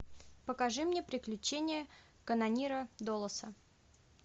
покажи мне приключения канонира доласа